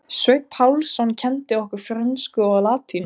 Sveinn Pálsson kenndi okkur frönsku og latínu.